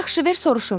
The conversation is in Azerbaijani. Yaxşı, ver soruşum.